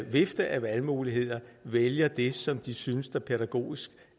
vifte af valgmuligheder vælger det som de synes pædagogisk